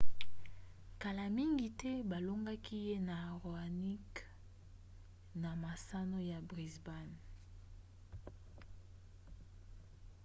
kala mingi te balongaki ye na raonic na masano ya brisbane